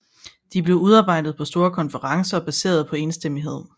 De blev udarbejdet på store konferencer og baseret på enstemmighed